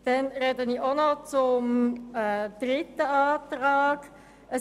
Ich spreche auch noch zur Planungserklärung 3.